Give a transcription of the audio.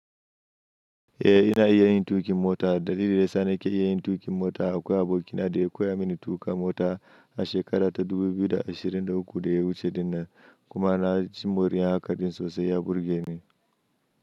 Eh ina iya yin tuƙin mota. Dalili da ya sa nake iya yin tuƙin mota akwai abokin da ya koya mini tuƙa mota a shekara ta 2023 da ya wuce, kuma na ji moriya hakan sosai ya burge ni.